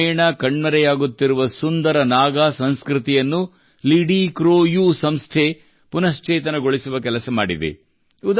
ಕ್ರಮೇಣ ಕಣ್ಮರೆಯಾಗುತ್ತಿರುವ ಸುಂದರ ನಾಗಾ ಸಂಸ್ಕೃತಿಯನ್ನು ಲಿಡಿಕ್ರೋಯೂ ಸಂಸ್ಥೆ ಪುನಃಶ್ಚೇತನಗೊಳಿಸುವ ಕೆಲಸ ಮಾಡಿದೆ